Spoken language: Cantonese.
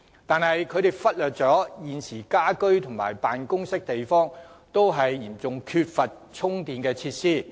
但是，當局忽略了現時家居和辦公地方均嚴重缺乏充電設施。